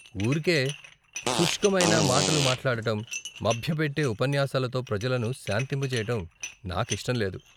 ఊరికే సుష్కమైన మాటలు మాట్లాడటం, మభ్యపెట్టే ఉపన్యాసాలతో ప్రజలను శాంతింప చేయటం నాకు ఇష్టం లేదు.